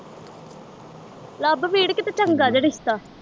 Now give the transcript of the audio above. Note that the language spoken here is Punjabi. ਲੱਭ ਵੀਰ ਕਿਤੇ ਚੰਗਾ ਜਿਹਾ ਰਿਸ਼ਤਾ